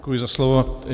Děkuji za slovo.